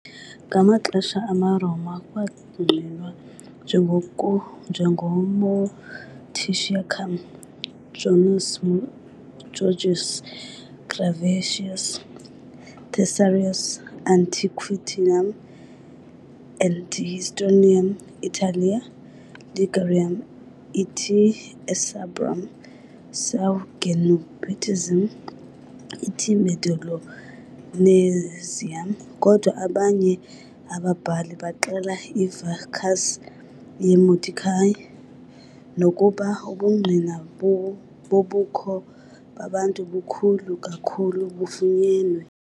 Ngamaxesha amaRoma kwangqinwa "njengoMoguntiacum", Joannes Georgius Graevius, "Thesaurus antiquitatum et historiarum Italiae- Ligurum et Insubrum, seu Genuensium et Mediolanensium", kodwa abanye ababhali baxela i"-vicus" ye "-Modicia", nokuba ubungqina bobukho babantu bukhulu kakhulu bufunyenwe.